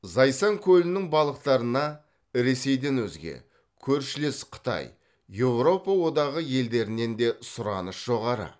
зайсан көлінің балықтарына ресейден өзге көршілес қытай еуропа одағы елдерінен де сұраныс жоғары